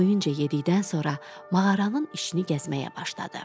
Doyunca yedikdən sonra mağaranın içini gəzməyə başladı.